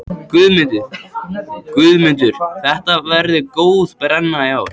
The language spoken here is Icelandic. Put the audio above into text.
Heimir Már Pétursson: Guðmundur, þetta verður góð brenna í ár?